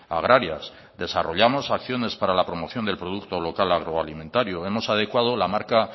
agrarias desarrollamos acciones para la promoción del producto local agroalimentario hemos adecuado la marca